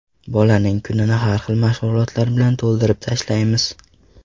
Bolaning kunini har xil mashg‘ulotlar bilan to‘ldirib tashlaymiz.